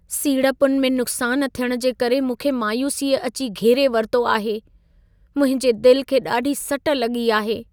सीड़पुनि में नुक़्सान थियण जे करे मूंखे मायूसीअ अची घेरे वरितो आहे! मुंहिंजे दिल खे ॾाढी सट लॻी आहे।